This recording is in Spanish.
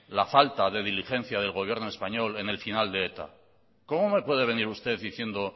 la falta de diligencia del gobierno español en el final de eta cómo me puede venir usted diciendo